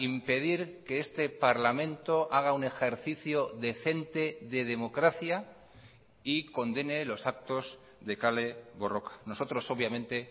impedir que este parlamento haga un ejercicio decente de democracia y condene los actos de kale borroka nosotros obviamente